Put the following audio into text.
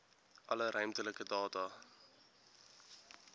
alle ruimtelike data